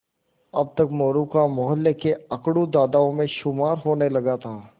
अब तक मोरू का मौहल्ले के अकड़ू दादाओं में शुमार होने लगा था